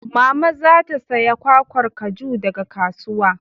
Mama za ta saya kwakwar kaju daga kasuwa.